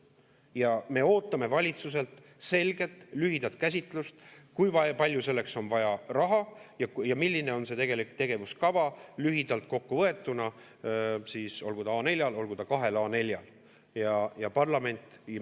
Ja me ootame valitsuselt selget lühidat käsitlust, kui palju selleks on vaja raha ja milline on tegelik tegevuskava lühidalt kokku võetuna – olgu ta A4-l, olgu ta kahel A4-l.